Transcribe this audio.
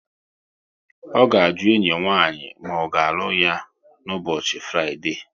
Ọ ga-aju enyi nwaanyi ma ọ ga-alụ ya n' ụbọchị Fraịdee